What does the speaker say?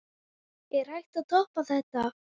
Er hægt að toppa þetta?